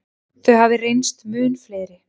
Þau hafi reynst mun fleiri.